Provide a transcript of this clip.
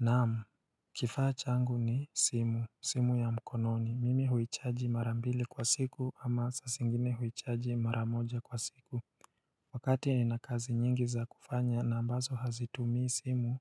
Naam, kifa chaangu ni simu, simu ya mkononi, mimi huichaji mara mbili kwa siku ama sasingine huichaji maramoja kwa siku Wakati nina kazi nyingi za kufanya na ambazo hazitumii simu,